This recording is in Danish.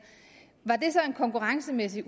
var det så en konkurrencemæssig